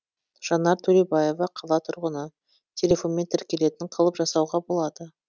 жанар төлеубаева қала тұрғыны телефонмен тіркелетін қылып жасауға болады